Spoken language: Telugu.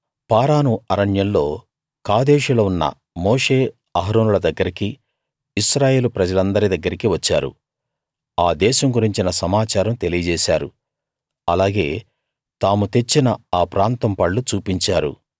పారాను అరణ్యంలో కాదేషులో ఉన్న మోషే అహరోనుల దగ్గరికీ ఇశ్రాయేలు ప్రజలందరి దగ్గరికీ వచ్చారు ఆ దేశం గురించిన సమాచారం తెలియజేశారు అలాగే తాము తెచ్చిన ఆ ప్రాంతం పళ్ళు చూపించారు